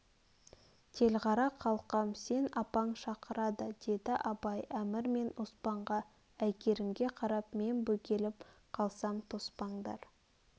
телғара қалқам сен апаң шақырады деді абай әмір мен оспанға әйгерімге қарап мен бөгеліп қалсам тоспаңдар